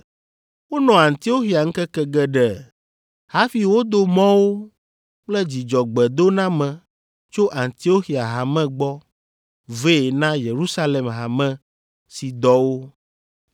Wonɔ Antioxia ŋkeke geɖe hafi wodo mɔ wo kple dzidzɔgbedoname tso Antioxia Hame gbɔ vɛ na Yerusalem hame si dɔ wo.